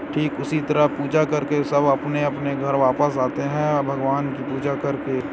ठीक उसी तरह पूजा करके सब अपने अपने घर वापिस जाते हैंऔर भगवान की पूजा करके।